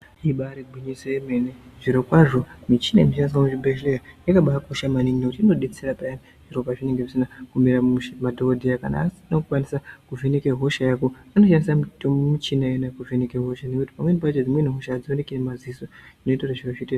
Ibari gwinyiso yemene, zvirokwazvo michini inoshandiswa kuzvibhedhleya yakabakosha maningi nekuti inodetsera peyani zviro pazvinenge zvisina kumira mushe. Madhokodheya kana asina kukwanisa kuvheneke hosha yako anoshandise michina iyona kuvheneke hosha, pamweni pacho dzimweni hosha hadzioneki nemaziso, zvinoita kuti zviro zviite zvakanaka.